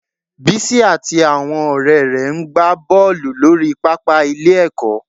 Bísí àti àwọn ọ̀rẹ́ rẹ̀ ń ń gba bọ́ọ̀lù lórí pàápàá ilé-ẹ̀kọ́